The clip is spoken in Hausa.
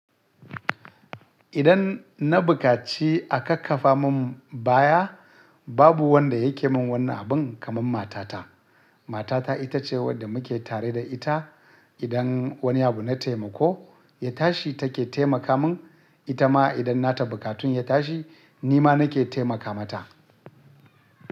Idan na bukaci a kakkafa mun baya babu wanda yake mun wannan abun kaman matata. Matata ita ce wadda muke tare da ita. Idan wani abu na taimako ya tashi take taimaka mun. Ita ma idan na ta bukatun ya tashi ni ma nake taimaka mata.